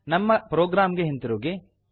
ನಮ್ಮ ಪ್ರೊಗ್ರಾಮ್ ಗೆ ಹಿಂತಿರುಗಿ